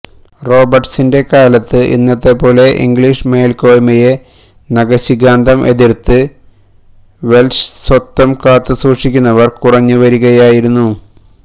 റോബേർട്സിന്രെ കാലത്ത് ഇന്നത്തെപ്പോലെ ഇംഗ്ലിഷ് മേൽകോയ്മയെ നഖശിഖാന്തം എതിർത്ത് വെൽഷ് സ്വത്വം കാത്തുസൂക്ഷിക്കുന്നവർ കുറഞ്ഞു വരികയായിരുന്നു